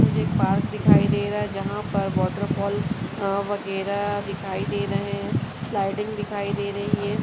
मुझे पार्क दिखाई दे रहा है जहां पर वाटर फाल अं वागेरा दिखाई दे रहा हैं स्लाइडिंग दिखाई दे रही है।